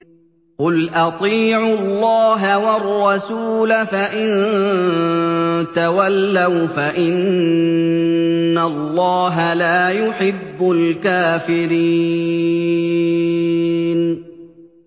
قُلْ أَطِيعُوا اللَّهَ وَالرَّسُولَ ۖ فَإِن تَوَلَّوْا فَإِنَّ اللَّهَ لَا يُحِبُّ الْكَافِرِينَ